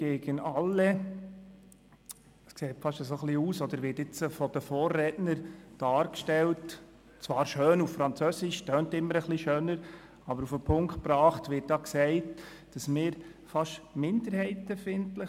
Jedenfalls wird es von den Vorrednern so dargestellt – zwar schön auf Französisch, das klingt immer etwas schöner –, aber auf den Punkt gebracht wird gesagt, wir seien fast minderheitenfeindlich.